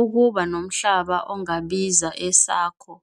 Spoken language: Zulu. Ukuba nomhlaba ongabiza esakho,